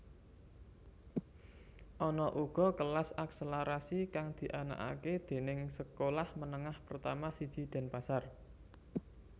Ana uga kelas akselerasi kang dianakake déning sekolah menengah pertama siji Denpasar